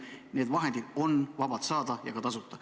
Need vahendid on vabalt saada, ja ka tasuta.